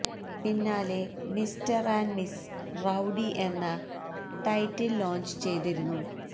പിന്നാലെ mister and miss rowdy എന്ന title launch ചെയ്തിരുന്നു